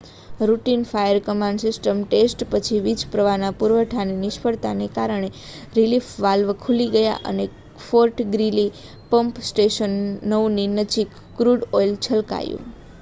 routine fire command system test પછી વીજપ્રવાહના પુરવઠાની નિષ્ફળતાને કારણે રિલીફ વાલ્વ ખુલી ગયા અને ફૉર્ટ ગ્રીલી પમ્પ સ્ટેશન 9ની નજીક ક્રૂડ ઑઇલ છલકાયું